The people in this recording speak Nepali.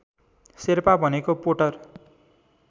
शेर्पा भनेको पोटर